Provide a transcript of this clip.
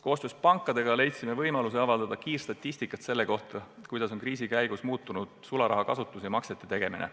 Koostöös pankadega leidsime võimaluse avaldada kiirstatistikat selle kohta, kuidas on kriisi käigus muutunud sularaha kasutus ja maksete tegemine.